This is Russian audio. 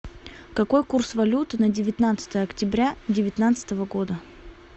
какой курс валюты на девятнадцатое октября девятнадцатого года